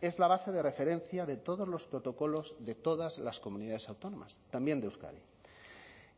es la base de referencia de todos los protocolos de todas las comunidades autónomas también de euskadi